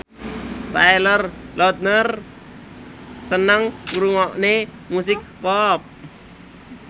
Taylor Lautner seneng ngrungokne musik pop